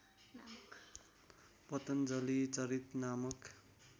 पतञ्जलि चरित नामक